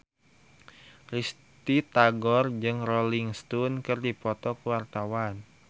Risty Tagor jeung Rolling Stone keur dipoto ku wartawan